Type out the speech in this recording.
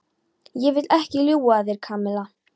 Ég vil ekki ljúga að þér, Kamilla.